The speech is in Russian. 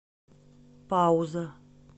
пауза